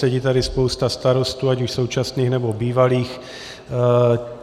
Sedí tady spousta starostů ať už současných, nebo bývalých.